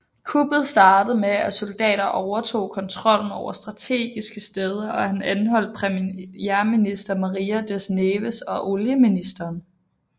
Kuppet startede med at soldater overtog kontrollen over strategiske steder og anholdt premierminister Maria das Neves og olieministeren